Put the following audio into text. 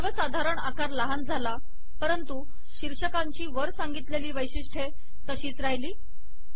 सर्वसाधारण आकार लहान झाला परंतु शीर्षकांची वर सांगितलेली वैशिष्ट्ये तशीच राहिली